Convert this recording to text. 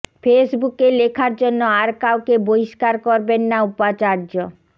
ফেসবুকে লেখার জন্য আর কাউকে বহিষ্কার করবেন না উপাচার্য